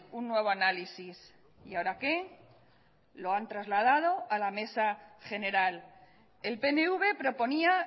un nuevo análisis y ahora qué lo han trasladado a la mesa general el pnv proponía